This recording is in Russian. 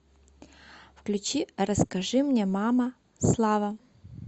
включи расскажи мне мама слава